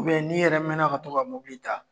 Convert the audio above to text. Mɛ n'i yɛrɛ mɛɛnna ka to ka mobili ta